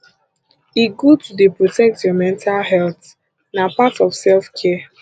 e good to dey protect your mental healt na part of self care